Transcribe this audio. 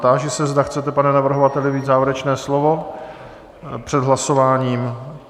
Táži se, zda chcete, pane navrhovateli, mít závěrečné slovo před hlasováním?